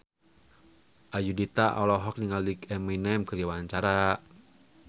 Ayudhita olohok ningali Eminem keur diwawancara